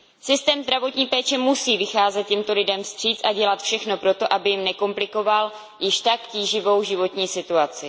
Systém zdravotní péče musí vycházet těmto lidem vstříc a dělat všechno pro to, aby jim nekomplikoval již tak tíživou životní situaci.